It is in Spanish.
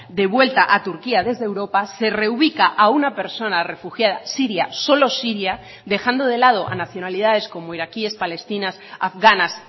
devuelta a turquía desde europa se reubica a una persona refugiada siria solo siria dejando de lado a nacionalidades como iraquíes palestinas afganas